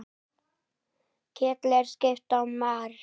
Kjóll er skip á mar.